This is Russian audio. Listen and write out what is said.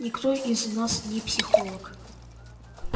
никто из нас не психолог